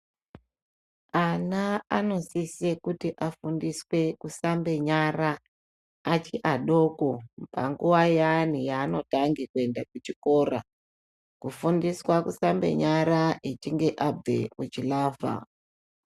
Ana anosise kuti anofundiswe kusambe nyara achiadoko panguva yaani yanotange kuenda kuchiko. Kufundiswa kusambe nyara achinge abve kuchilavha.